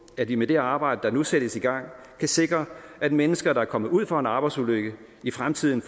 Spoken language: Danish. at vi med det arbejde der nu sættes i gang kan sikre at mennesker der er kommet ud for en arbejdsulykke i fremtiden